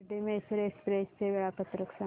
Shirdi Mysore express चे वेळापत्रक सांग